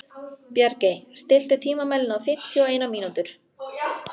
Bjargey, stilltu tímamælinn á fimmtíu og eina mínútur.